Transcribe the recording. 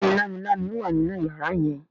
béèni Lámilámi wá nínú yàrá yen.